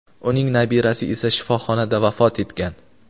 uning nabirasi esa shifoxonada vafot etgan.